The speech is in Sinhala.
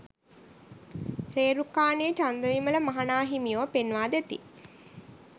රේරුකානේ චන්දවිමල මහ නා හිමියෝ පෙන්වාදෙති.